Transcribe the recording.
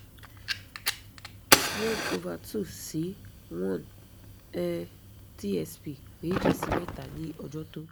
one over two sí one um tsp méjì sí mẹ́ta ní ọjọ́ tó